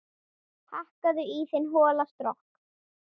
Hakkaðu í þinn hola skrokk